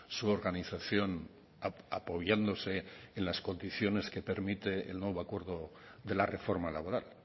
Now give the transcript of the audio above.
su organización apoyándose en las condiciones que permite el nuevo acuerdo de la reforma laboral